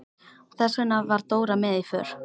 Þess vegna var Dóra með í för.